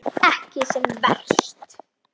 Ekki sem verst.